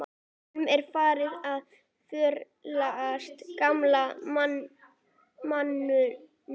Honum er farið að förlast, gamla manninum.